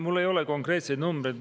Mul ei ole konkreetseid numbreid.